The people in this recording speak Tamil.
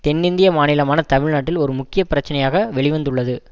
தென்னிந்திய மாநிலமான தமிழ்நாட்டில் ஒரு முக்கிய பிரச்சினையாக வெளி வந்துள்ளது